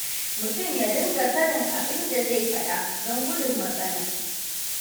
Mutum ya dinga sanin abin da zai faɗa don gudun matsala.